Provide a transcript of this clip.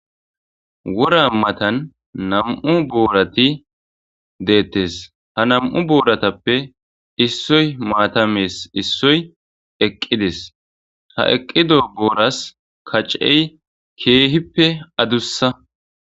Wora matan na'mu borati de'etes ha na'mu boratape issoy mata me'yes issoy eqides ha eqido bora kacey kehippe adusa